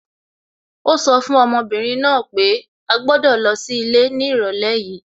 Ó sọ fún ọmọbìnrin náà pé à gbọ́dọ̀ lọ sí ilé ní ìrọ̀lẹ́ yìí